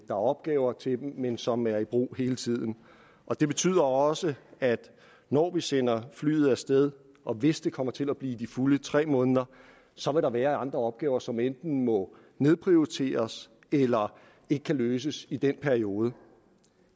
er opgaver til det men som er i brug hele tiden det betyder også at når vi sender flyet af sted og hvis det kommer til at blive i de fulde tre måneder så vil der være andre opgaver som enten må nedprioriteres eller ikke kan løses i den periode